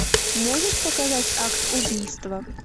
можешь показать акт убийства